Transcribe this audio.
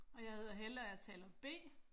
Og jeg hedder Helle og er taler B